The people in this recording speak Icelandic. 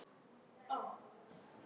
Iss, það er allt í lagi.